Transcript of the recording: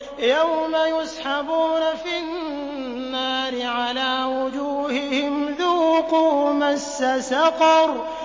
يَوْمَ يُسْحَبُونَ فِي النَّارِ عَلَىٰ وُجُوهِهِمْ ذُوقُوا مَسَّ سَقَرَ